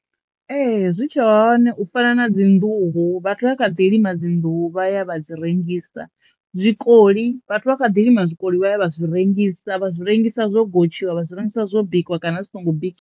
Ee zwi tshe hone u fana na dzi nḓuhu vhathu vha kha ḓi lima dzinḓuhu vha ya vha dzi rengisa. Zwikoli vhathu vha kha ḓi lima zwikoli vha ya vha zwi rengisa vha zwi rengisa zwo gotshiwa, vha zwi rengisa zwo bikiwa kana zwi songo biK .